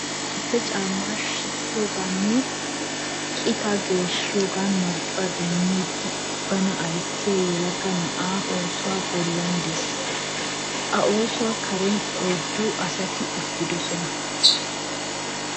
Duuxa chappe caammmaa sikkiyogaani nne qitaa geeshshiyogan marccuwa demmidi bana ayssiya yelaga na'ay ooso bollan de'es.A ooso karen oyddu asati uttidosona.